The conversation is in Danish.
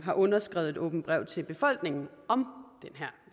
har underskrevet et åbent brev til befolkningen om den her